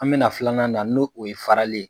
An bɛna filanan na n'o o ye farali ye